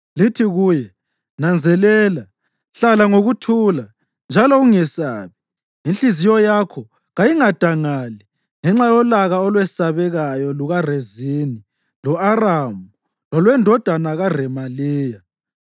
Lithi kuye, ‘Nanzelela, hlala ngokuthula, njalo ungesabi. Inhliziyo yakho kayingadeli ngenxa yolaka olwesabekayo lukaRezini lo-Aramu lolwendodana kaRemaliya.’ ”